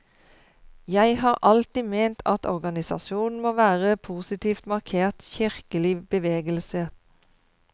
Jeg har alltid ment at organisasjonen må være en positivt markert kirkelig bevegelse.